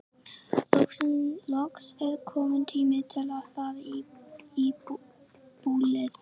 Loks er kominn tími til að fara í bólið.